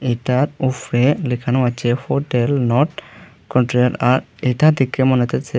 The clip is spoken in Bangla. তার উফরে লেখানো আছে হোটেল নর্থ কন্টিনেন আর এটা দেখে মনে হইতেছে--